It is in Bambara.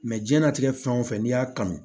jiyɛn latigɛ fɛn o fɛn n'i y'a kanu